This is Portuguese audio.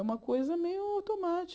É uma coisa meio automática.